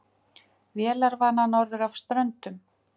Vélarvana norður af Ströndum